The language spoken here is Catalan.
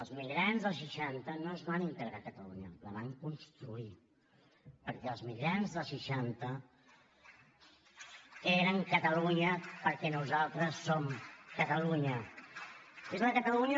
els migrants dels seixanta no es van integrar a catalunya la van construir perquè els migrants dels seixanta eren catalunya perquè nosaltres som catalunya